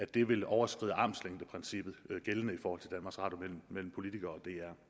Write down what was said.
det vil overskride armslængdeprincippet gældende mellem politikere